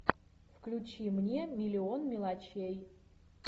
включи мне миллион мелочей